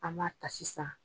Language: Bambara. An b'a ta sisan.